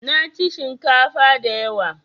Naci shinkafa da yawa